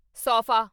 sofa